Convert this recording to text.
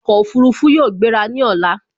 Ọkọ̀ Òfurufú yóò gbera ní ọ̀la